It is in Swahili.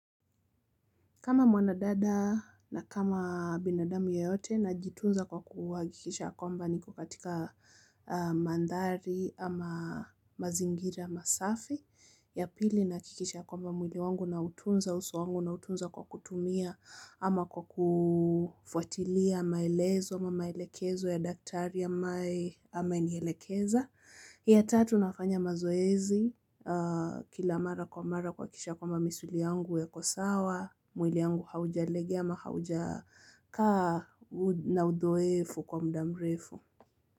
Kama mwana dada na kama binadamu yeyote najitunza kwa kuhakikisha ya kwamba niko katika mandhari ama mazingira masafi ya pili nahakikisha ya kwamba mwili wangu nautunza uso wangu nautunza kwa kutumia ama kwa kufuatilia maelezo ama maelekezo ya daktari ambaye amenielekeza. Ya tatu nafanya mazoezi kila mara kwa mara kuhakikisha ya kwamba misuli yangu iko sawa, mwili yangu haujalegea ama haujakaa na udhaifu kwa muda mrefu.